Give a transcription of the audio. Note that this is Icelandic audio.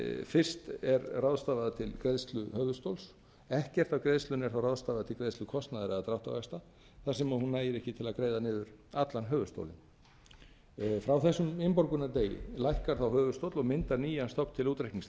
fyrst er ráðstafað til greiðslu höfuðstóls engu af greiðslunni er þá ráðstafað til greiðslu kostnaðar eða dráttarvaxta þar sem hún nægir ekki til að greiða niður allan höfuðstólinn frá þessum innborgunardegi lækkar þá höfuðstóll og myndar nýjan stofn til útreiknings